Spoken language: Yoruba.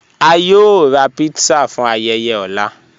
À yóò rà pizza fún ayéyé ọ̀lá.